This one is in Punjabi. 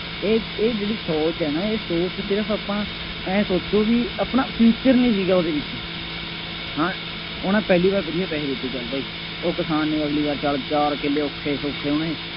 ਇਹ ਇਹ ਜਿਹੜੀ ਸੋਚ ਹੈ ਨਾ, ਇਹ ਸੋਚ ਸਿਰਫ ਆਪਾਂ ਆਏਂ ਸੋਚੋ ਬਈ ਆਪਣਾ future ਨਹੀਂ ਸੀਗਾ ਉਹਦੇ ਵਿੱਚ ਹਾਂ ਉਹਨੇ ਪਹਿਲੀ ਵਾਰ ਵਧੀਆ ਪੈਸੇ ਦੇ ਦਿੱਤੇ, ਚੱਲ ਭਾਈ, ਉਹ ਕਿਸਾਨ ਨੇ ਅਗਲੀ ਵਾਰ ਚੱਲ ਚਾਰ ਕਿੱਲੇ ਔਖੇ ਸੌਖੇ ਉਹਨੇ